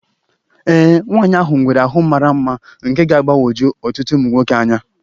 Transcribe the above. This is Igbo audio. Ee, nwaanyị ahụ nwere ahụ mara mma nke ga-agbagwoju ọtụtụ ụmụ nwoke anya